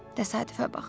Təsadüfə bax.